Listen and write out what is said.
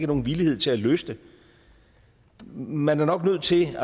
nogen villighed til at løse det man er nok nødt til